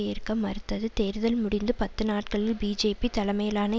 ஏற்க மறுத்தது தேர்தல் முடிந்த பத்து நாட்களில் பிஜேபி தலைமையிலான